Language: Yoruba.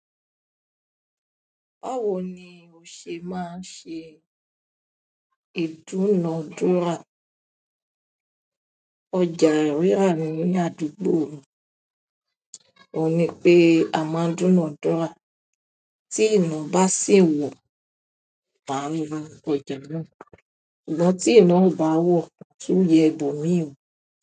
Báwo ni o ṣe máa ṣe ìdúnadúrà? Ọjà rirà ní àdúgbò mi, òní pé a máa dúnadúrà tí ìna bá sì wọ̀, màá ra ọjà náà, ṣùgbọ́n tí ìna bá wọ̀, màá tún yẹ ibòmíìwo.